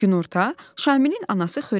Günorta Şamilin anası xörək çəkirdi.